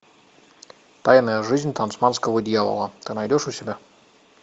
тайная жизнь тасманского дьявола ты найдешь у себя